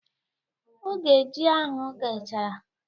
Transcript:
Oge ji ahụ ghechara